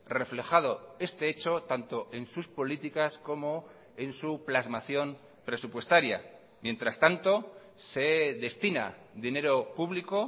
reflejado este hecho tanto en sus políticas como en su plasmación presupuestaria mientras tanto se destina dinero público